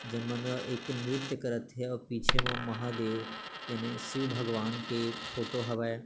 जेन मन ह एक नृत्य करत हे अऊ पीछे म महादेव यानि शिव भगवान के फोटो हवय।